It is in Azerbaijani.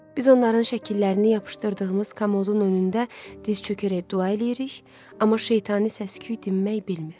Biz onların şəkillərini yapışdırdığımız kamodun önündə diz çökərək dua eləyirik, amma şeytani səsküy dinmək bilmir.